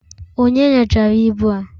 Onye nyochara ibu a?